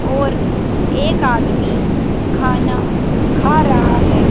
और एक आदमी खाना खा रहा है।